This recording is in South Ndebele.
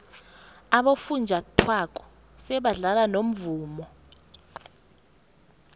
abofunjathwako sebadlala nomvumo